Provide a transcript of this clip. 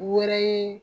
U wɛrɛ ye